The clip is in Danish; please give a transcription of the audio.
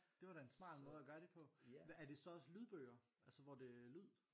Det var da en smart måde at gøre det på hvad er det så også lydbøger altså hvor det er lyd?